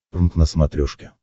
прнк на смотрешке